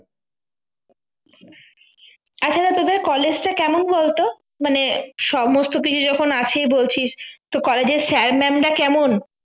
আচ্ছা তোদের college টা কেমন বলতো মানে সমস্ত কিছু যখন আছেই বলছিস তো college এর sir mam রা কেমন